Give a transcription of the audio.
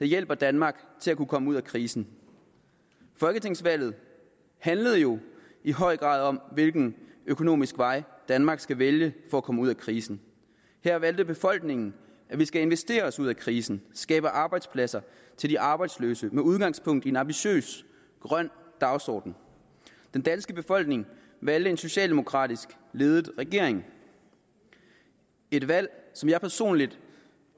hjælpe danmark til at komme ud af krisen folketingsvalget handlede jo i høj grad om hvilken økonomisk vej danmark skal vælge for at komme ud af krisen her valgte befolkningen at vi skal investere os ud af krisen skabe arbejdspladser til de arbejdsløse med udgangspunkt i en ambitiøs grøn dagsorden den danske befolkning valgte en socialdemokratisk ledet regering et valg som jeg personligt